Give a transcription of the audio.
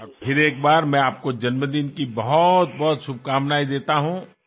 మరోసారి మీకు అనేకానేక పుట్టినరోజు శుభాకాంక్షలు తెలుపుతున్నాను